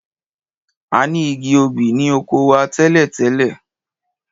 A ni igi obì ni oko wa tẹ́lẹ̀.